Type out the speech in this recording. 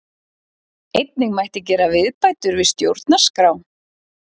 Einnig mætti gera viðbætur við stjórnarskrá